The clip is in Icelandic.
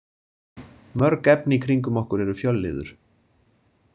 Mörg efni í kringum okkur eru fjölliður.